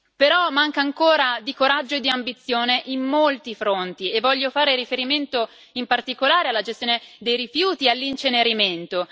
Però manca ancora di coraggio e di ambizione su molti fronti voglio fare riferimento in particolare alla gestione dei rifiuti e all'incenerimento.